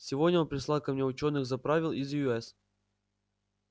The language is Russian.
сегодня он прислал ко мне учёных заправил из ю с